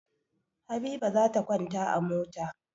Habiba za ta kwanta a mota.